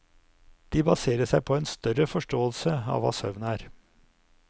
De baserer seg på en større forståelse av hva søvn er.